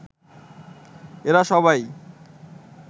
এরা সবাই